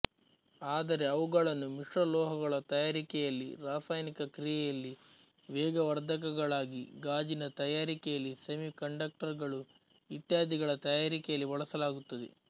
ಆದರೆ ಅವುಗಳನ್ನು ಮಿಶ್ರಲೋಹಗಳ ತಯಾರಿಕೆಯಲ್ಲಿ ರಾಸಾಯನಿಕ ಕ್ರಿಯೆಯಲ್ಲಿ ವೇಗವರ್ಧಕಗಳಾಗಿ ಗಾಜಿನ ತಯಾರಿಕೆಯಲ್ಲಿ ಸೆಮಿ ಕಂಡಕ್ಟರ್ ಗಳು ಇತ್ಯಾದಿಗಳ ತಯಾರಿಕೆಯಲ್ಲಿ ಬಳಸಲಾಗುತ್ತದೆ